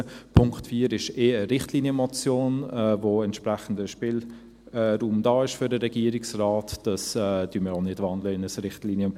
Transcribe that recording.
Der Punkt 4 ist ohnehin eine Richtlinienmotion, wo entsprechender Spielraum für den Regierungsrat vorhanden ist.